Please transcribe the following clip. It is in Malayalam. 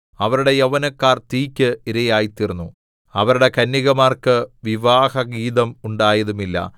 അവരുടെ യൗവനക്കാർ തീയ്ക്ക് ഇരയായിത്തീർന്നു അവരുടെ കന്യകമാർക്ക് വിവാഹഗീതം ഉണ്ടായതുമില്ല